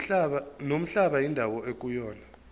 nomhlaba indawo ekuyona